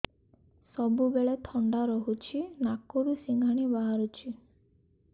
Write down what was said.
ସବୁବେଳେ ଥଣ୍ଡା ରହୁଛି ନାକରୁ ସିଙ୍ଗାଣି ବାହାରୁଚି